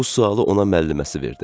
Bu sualı ona müəlliməsi verdi.